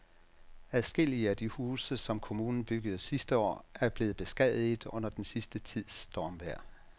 Adskillige af de huse, som kommunen byggede sidste år, er blevet beskadiget under den sidste tids stormvejr.